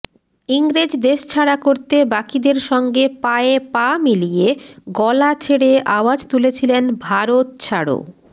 ইংরেজ দেশছাড়া করতে বাকিদের সঙ্গে পায়ে পা মিলিয়ে গলা ছেড়ে আওয়াজ তুলেছিলেন ভারত ছাড়ো